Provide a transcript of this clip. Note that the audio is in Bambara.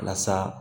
Walasa